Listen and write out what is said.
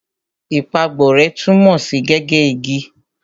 Ìpàgborẹ́ tunmo si gige igi.